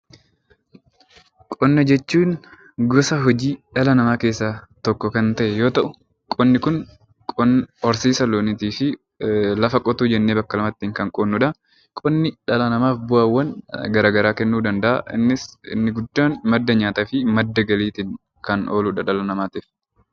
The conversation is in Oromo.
Qonna jechuun gosa hojii dhala namaa keessaa tokko kan ta'e yoo ta'u, qonni Kun horsiisa loonii fi lafa qotuu jennee bakka lamatti kan qoodnudha. Qonni dhala namaaf bu'aawwan garaagaraa kennuu danda'a innis inni guddaan madda nyaataa fi madda galiitiif kan ooludha dhala namaatiif.